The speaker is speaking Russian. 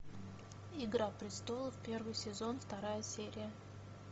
игра престолов первый сезон вторая серия